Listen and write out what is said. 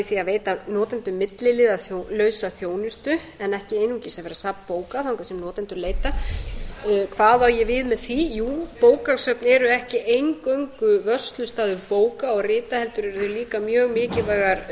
í auknum mæli að því að veita notendum milliliðalausa þjónustu en ekki einungis vera safn bóka þangað sem notendur leita hvað á ég við með því jú bókasöfn eru ekki eingöngu vörslustaður bóka og rita heldur eru þau líka mjög mikilvægar